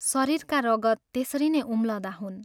शरीरका रगत त्यसरी नै उम्लँदा हुन्।